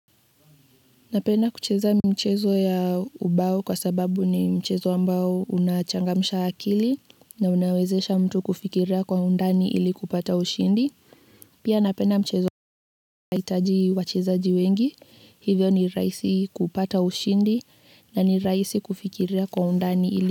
Napenda kucheza mchezo ya ubao kwa sababu ni mchezo ambao unachangamsha akili na unawezesha mtu kufikiria kwa undani ili kupata ushindi. Pia napenda mchezo unaohitaji wachezaji wengi. Hivyo ni rahisi kupata ushindi na ni rahisi kufikiria kwa undani ili,